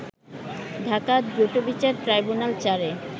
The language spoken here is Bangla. ঢাকার দ্রুতবিচার ট্রাইব্যুনাল-৪ এ